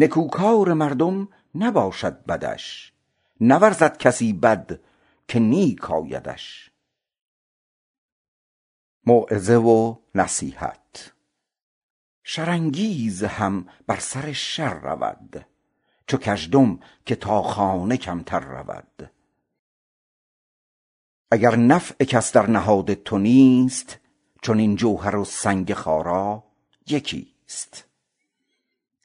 نکوکار مردم نباشد بدش نورزد کسی بد که نیک افتدش شر انگیز هم بر سر شر شود چو کژدم که با خانه کمتر شود اگر نفع کس در نهاد تو نیست چنین گوهر و سنگ خارا یکی است